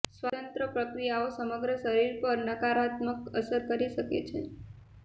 સ્વતંત્ર પ્રક્રિયાઓ સમગ્ર શરીર પર નકારાત્મક અસર કરી શકે છે